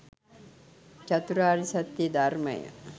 චතුරාර්ය සත්‍යය ධර්මය